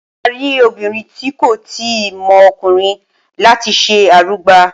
Wọn máa rí obìnrin tí kò ì tíì mọ ọkùnrin láti ṣe arugba.